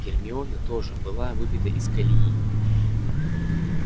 гермиона тоже была выбита из колеи